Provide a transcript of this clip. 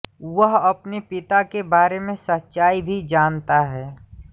वह अपने पिता के बारे में सच्चाई भी जानता है